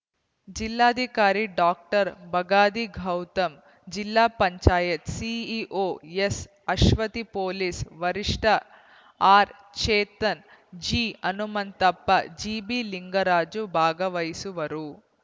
ಜಿಲ್ಲಾಧಿಕಾರಿ ಡಾಕ್ಟರ್ ಬಗಾದಿ ಗೌತಮ್‌ ಜಿಲ್ಲಾ ಪಂಚಾಯತ್ ಸಿಇಒ ಎಸ್‌ಅಶ್ವತಿ ಪೊಲೀಸ್‌ ವರಿಷ ಟ ಆರ್ಚೇತನ್‌ ಜಿಹನುಮಂತಪ್ಪ ಜಿಬಿಲಿಂಗರಾಜ ಭಾಗವಹಿಸುವರು